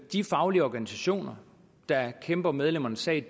de faglige organisationer der kæmper medlemmernes sag